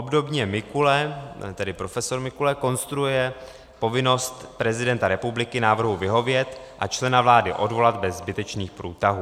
Obdobně Mikule, tedy profesor Mikule, konstruuje povinnost prezidenta republiky návrhu vyhovět a člena vlády odvolat bez zbytečných průtahů.